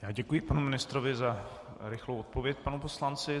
Já děkuji panu ministrovi za rychlou odpověď panu poslanci.